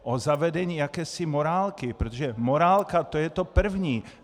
O zavedení jakési morálky, protože morálka, to je to první.